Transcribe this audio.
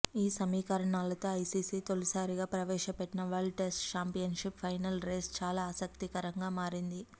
ఈ సమీకరణాలతో ఐసీసీ తొలిసారిగా ప్రవేశపెట్టిన world test championship final race చాలా ఆసక్తికరంగా మారింది